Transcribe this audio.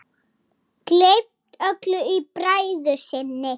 Gleymt öllu í bræði sinni.